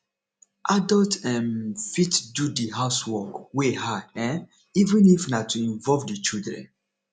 adult um fit do di housework wey hard um even if na to involve di children